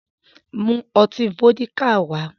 Mu ọtí Fọ́díkà wá!